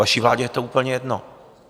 Vaší vládě je to úplně jedno.